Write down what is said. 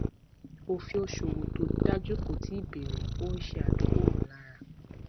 òfin òṣòwò tó dájú kó tíì bẹrẹ ó ń ṣe adókòwò lára